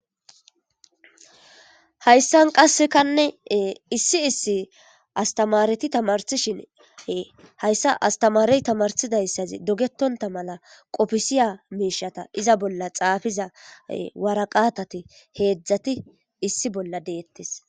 hayssan qassekanne issi issi astamareti tamarsishine hayssa astamarey tamarsidayssazi dogetonta mala qofisiya miishata iza bolla xaafiza waraqatati heedzdzati issi bolla deettes